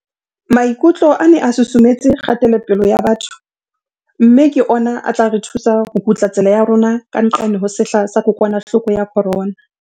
Maikutlo a ne a susumetse kgatelopele ya batho mme ke ona a tla re thusa ho kutla tsela ya rona ka nqane ho sehla sa kokwanahloko ya corona.